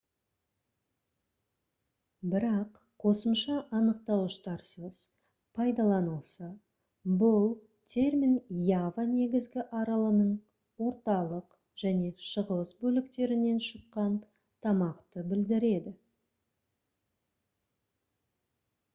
бірақ қосымша анықтауыштарсыз пайдаланылса бұл термин ява негізгі аралының орталық және шығыс бөліктерінен шыққан тамақты білдіреді